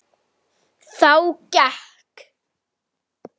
Þá gekk